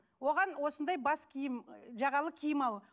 оған осындай бас киім жағалы киім ал